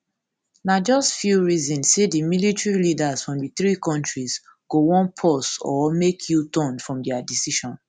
na just few reason say di military leaders from di three kontris go wan pause or make uturn from dia decision